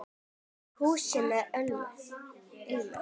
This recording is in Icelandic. Hús sem ilma